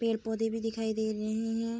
पेड़-पौधे भी दिखाई दे रहे हैं।